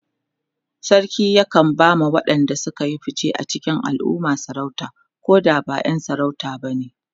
sarki yakan ba ma waƴanda Suka Yi fice a cikin alumma sarauta Koda ba ƴan sarauta bane